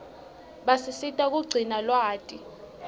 basisita kugcina lwati